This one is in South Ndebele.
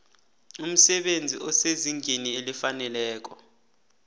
umsebenzi osezingeni elifaneleko